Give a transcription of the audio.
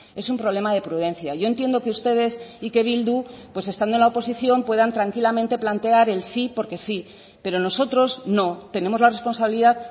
es un problema de prudencia yo entiendo que ustedes y que bildu pues estando en la oposición puedan tranquilamente plantear el sí porque sí pero nosotros no tenemos la responsabilidad